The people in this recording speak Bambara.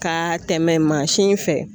Ka tɛmɛ mansin in fɛ.